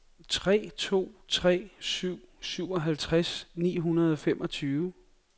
tre to tre syv syvoghalvtreds ni hundrede og femogtyve